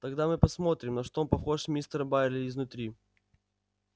тогда мы посмотрим на что похож мистер байерли изнутри